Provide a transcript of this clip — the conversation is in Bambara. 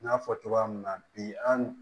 N y'a fɔ cogoya min na bi an